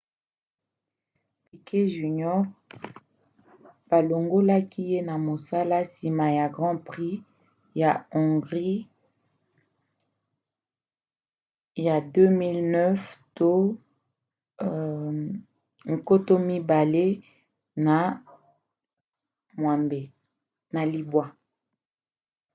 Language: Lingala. piquet jr. balongoki ye na mosala nsima ya grand prix ya hongrie ya 2009